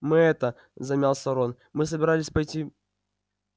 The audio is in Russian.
мы это замялся рон мы собирались пойти